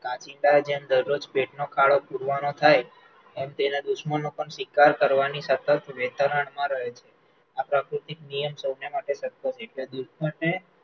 કાંચીડાને જેમ દરરોજનો ખાડો પૂરવાનો થાય, એમ તેના દુશ્મનો પણ શિકાર કરવાની સતત વેતરણમાં રહે છે, આ પ્રકૃતિ નિયમ સૌના માટે સરખો છે, એટલે દુશ્મનને